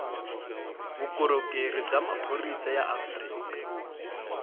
vukorhokeri bya maphorisa ya afrika